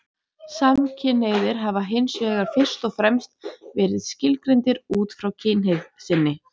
Samkynhneigðir hafa hins vegar fyrst og fremst verið skilgreindir út frá kynhneigð sinni.